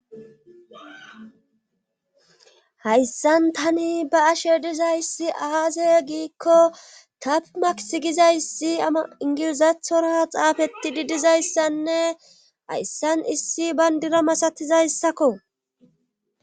hayssan tani ba ashe dizayssi aaaze giikko tapmaks gizayssi ingilizathora xaafeti didizayssanne hayssan issi bayndira masatizayssakko